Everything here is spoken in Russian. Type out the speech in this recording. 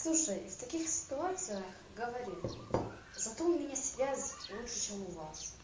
слушай в таких ситуациях говори зато у меня связь лучше чем у вас